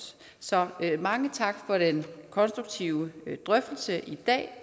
så mange tak for den konstruktive drøftelse i dag